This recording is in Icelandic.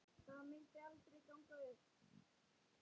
Það myndi aldrei ganga upp.